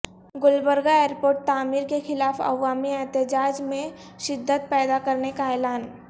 Gulbarga airport تعمیر کے خلاف عوامی احتجاج میں شدت پیدا کرنے کا اعلان